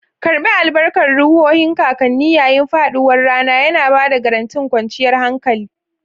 Karɓi albarkan ruhohin kakanni yayin faɗuwar rana, yana ba da garantin kwanciyar hankali.